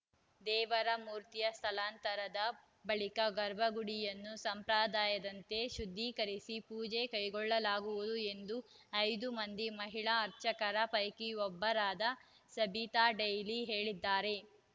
ದೇವರ ಮೂರ್ತಿಯ ಸ್ಥಳಾಂತರದ ಬಳಿಕ ಗರ್ಭಗುಡಿಯನ್ನು ಸಂಪ್ರದಾಯದಂತೆ ಶುದ್ಧಿಕರಿಸಿ ಪೂಜೆ ಕೈಗೊಳ್ಳಲಾಗುವುದು ಎಂದು ಐದು ಮಂದಿ ಮಹಿಳಾ ಅರ್ಚಕರ ಪೈಕಿ ಒಬ್ಬರಾದ ಸಬಿತಾ ಡೇಲಿ ಹೇಳಿದ್ದಾರೆ